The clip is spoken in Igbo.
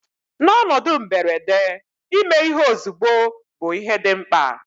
N'ọnọdụ mberede, ime ihe ozugbo bụ ihe dị mkpa